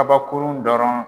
Kabakurun dɔrɔn